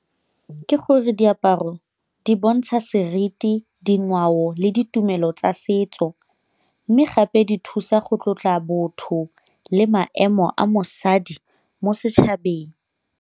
Ke gore diaparo di bontsha seriti, dingwao le ditumelo tsa setso. Mme gape di thusa go tlotla botho le maemo a mosadi mo setšhabeng.